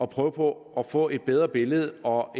prøve på at få et bedre billede og